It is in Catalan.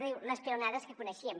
diu les peonadas que coneixíem